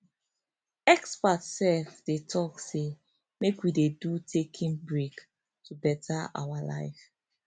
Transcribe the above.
experts sef dey talk say make we dey do taking breaks to better our life